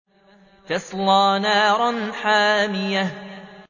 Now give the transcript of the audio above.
تَصْلَىٰ نَارًا حَامِيَةً